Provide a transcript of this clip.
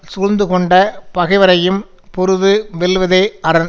சூழ்ந்து கொண்ட பகைவரையும் பொருது வெல்வதே அரண்